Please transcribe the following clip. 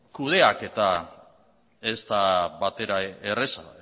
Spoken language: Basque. kudeatzea ez da batere erraza